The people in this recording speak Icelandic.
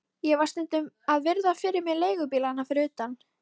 Ég var stundum að virða fyrir mér leigubílana fyrir utan